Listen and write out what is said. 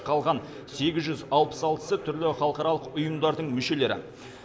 қалған сегіз жүз алпыс алтысы түрлі халықаралық ұйымдардың мүшелері